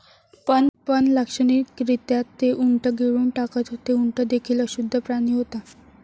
पण लाक्षणिकरित्या ते उंट गिळून टाकत होते. उंट देखील अशुद्ध प्राणी होता.